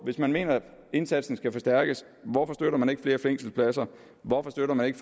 hvis man mener indsatsen skal forstærkes hvorfor støtter man ikke flere fængselspladser hvorfor støtter man ikke